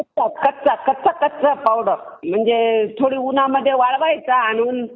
कच्चा थोडा उन्हामध्ये वळवायचा आणून आणि